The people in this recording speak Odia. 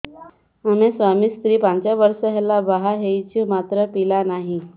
ଆମେ ସ୍ୱାମୀ ସ୍ତ୍ରୀ ପାଞ୍ଚ ବର୍ଷ ହେଲା ବାହା ହେଇଛୁ ମାତ୍ର ପିଲା ନାହିଁ